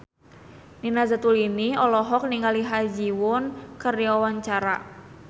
Nina Zatulini olohok ningali Ha Ji Won keur diwawancara